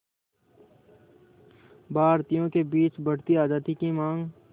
भारतीयों के बीच बढ़ती आज़ादी की मांग